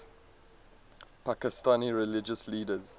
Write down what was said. pakistani religious leaders